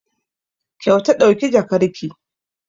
Kyauta ɗauki jakarki!